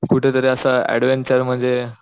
कुठं तरी अश्या ऍडव्हेंचर मध्ये